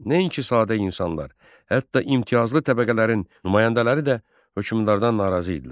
Nəinki sadə insanlar, hətta imtiyazlı təbəqələrin nümayəndələri də hökmdardan narazı idilər.